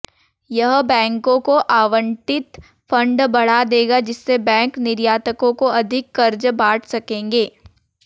यह बैंकों को आवंटित फंड बढ़ा देगा जिससे बैंक निर्यातकों को अधिक कर्ज बांट सकेंगे